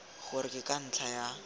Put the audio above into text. gore ke ka ntlha ya